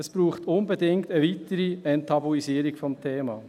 Es braucht unbedingt eine weitere Enttabuisierung des Themas.